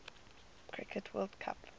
cricket world cup